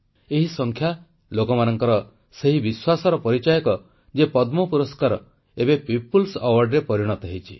ଏହି ସଂଖ୍ୟା ଲୋକମାନଙ୍କର ସେହି ବିଶ୍ୱାସର ପରିଚାୟକ ଯେ ପଦ୍ମ ସମ୍ମାନ ଏବେ ଜନସାଧାରଣଙ୍କ ପୁରସ୍କାରରେ ପରିଣତ ହୋଇଛି